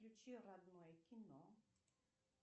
включи родное кино